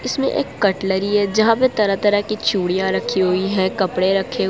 इसमें एक कटलरी है जहां पर तरह तरह की चूड़ियां रखी हुई है कपड़े रखें--